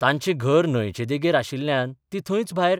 तांचें घर न्हंयचें देगेर आशिल्ल्यान ती थंयच भायर